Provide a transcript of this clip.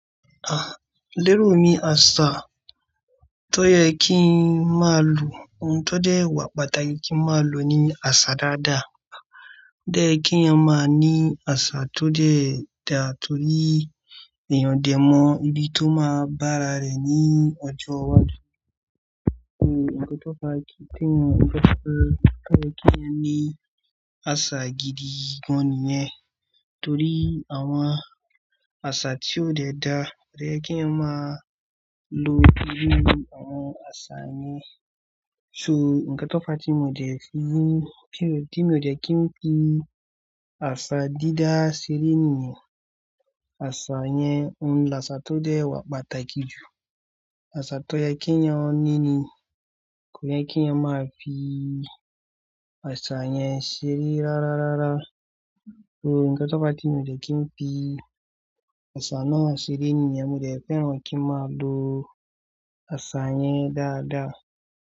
Ah, lérò mi àṣà tó yẹ kí n má lò. Ohun tó dẹ̀ wa pàtàkì kí n má lò ní àṣà dáadáa. Ó dẹ̀ yẹ kí èyàn má ní àṣà tó dẹ̀ ẹ da torí èèyàn dẹ̀ mọ ibi tó máa bá ara rẹ̀ ní ọjọ́ iwájú. Òun nkan tó fà kì í pé wọn, nkan tí ófa tó kí èyàn ní àṣà gidi gan-an nìyẹn. Torí àwọn àṣà tí ó dẹ̀ da, kò yẹ kí èyàn má lò irú àwọn àṣà yẹn. So, ǹkan tó fàá tí mò dẹ̀ fi wí t mi ò dẹ̀ kí n fi àṣà dídá seré nìyẹn. Àṣà yẹn, òun ni àṣà tó dẹ̀ wa pàtàkì jù. Àṣà tó yẹ kí èyàn ní ni kò yẹ kí èyãn má fi àṣà yẹn seré rárárárá. So, ǹkan tó fàá tí mi ò dẹ̀ kí n fi àṣà náà seré nìyẹn. Mò dẹ̀ fẹ́ràn kí n má lò àṣà yẹn dáadáa.